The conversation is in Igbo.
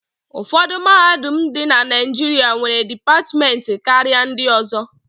Ụfọdụ mahadum dị na Naịjịrịs nwere dipatịmentị karịa ndị ọzọ.